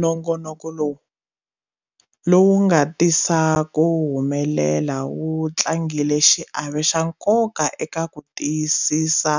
Nongonoko lowu, lowu nga tisa ku humelela wu tlangile xiave xa nkoka eka ku tiyisisa